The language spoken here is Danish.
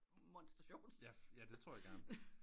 Det er monster sjovt